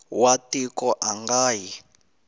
wa tiko a nga yi